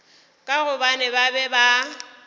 ka gobane ba be ba